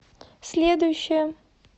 следующая